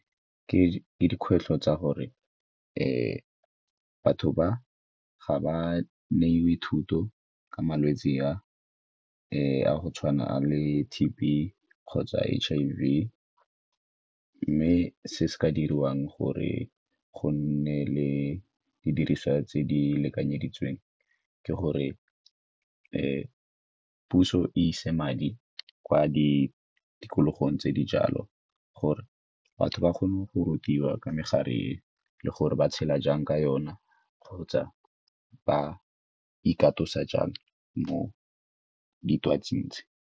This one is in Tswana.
Ke dikgwetlho tsa gore batho ga ba neiwe thuto ka malwetse a a go tshwana le T_B kgotsa H_I_V, mme se se ka diriwang gore go nne le didiriswa tse di lekanyeditsweng, ke gore puso e ise madi kwa di tikologong tse di jalo gore batho ba kgone go rutiwa ka megare le gore ba tshela jang ka yona kgotsa ba ikatosa jang mo ditwatsing tse.